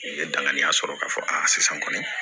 N ye danganiya sɔrɔ k'a fɔ sisan kɔni